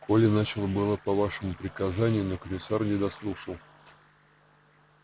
коля начал было по вашему приказанию но комиссар не дослушал